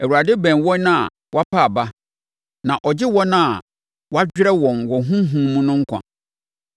Awurade bɛn wɔn a wɔapa aba na ɔgye wɔn a wɔadwerɛ wɔn wɔ honhom mu no nkwa.